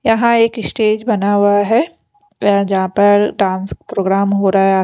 यहाँ एक इशटेज बना हुआ है एै जहाँ पर डांस प्रोग्राम हो रहा है।